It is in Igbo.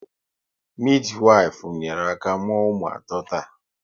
Midiwifu nyere aka mụọ ụmụ ato taa